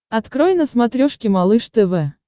открой на смотрешке малыш тв